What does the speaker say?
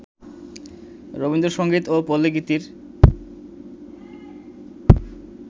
রবীন্দ্রসংগীত ও পল্লিগীতির